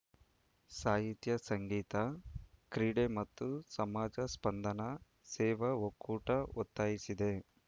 ಸಾಹಿತ್ಯ ಸಂಗೀತ ಕ್ರೀಡೆ ಮತ್ತು ಸಮಾಜ ಸ್ಪಂದನಾ ಸೇವಾ ಒಕ್ಕೂಟ ಒತ್ತಾಯಿಸಿದೆ